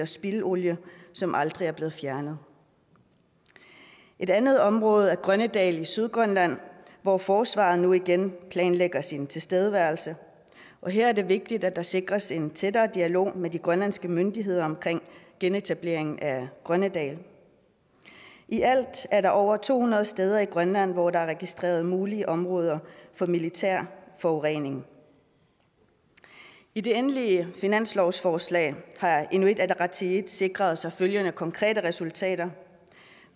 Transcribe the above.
spildolie som aldrig er blevet fjernet et andet område er grønnedal i sydgrønland hvor forsvaret nu igen planlægger sin tilstedeværelse her er det vigtigt at der sikres en tættere dialog med de grønlandske myndigheder omkring genetablering af grønnedal i alt er der over to hundrede steder i grønland hvor der er registreret mulige områder med militær forurening i det endelige finanslovsforslag har inuit ataqatigiit sikret sig følgende konkrete resultater